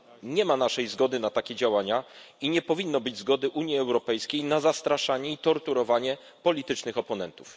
Nie ma naszej zgody na takie działania i nie powinno być zgody Unii Europejskiej na zastraszanie i torturowanie politycznych oponentów.